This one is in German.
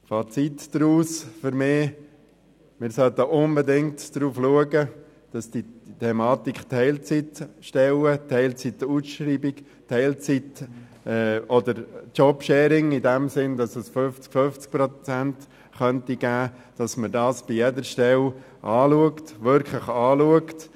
Fazit für mich: Wir sollten unbedingt darauf achten, dass man bei jeder Stelle die Thematik Teilzeitstelle, Teilzeitausschreibung oder Jobsharing wirklich dahingehend anschaut, ob 50 zu 50 Prozent möglich wären.